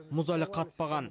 мұз әлі қатпаған